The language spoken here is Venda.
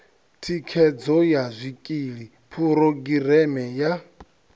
thikhedzo ya zwikili phurogireme ya